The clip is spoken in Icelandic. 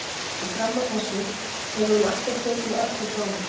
Og fram að þessu hefur hún alltaf tekið við öllu frá honum.